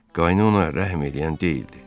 Qaynı ona rəhm eləyən deyildi.